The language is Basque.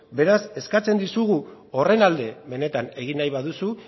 beraz eskatzen dizugu horren alde benetan egin nahi baduzu